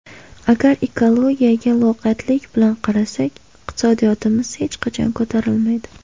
Agar ekologiyaga loqaydlik bilan qarasak, iqtisodiyotimiz hech qachon ko‘tarilmaydi.